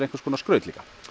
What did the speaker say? líka skraut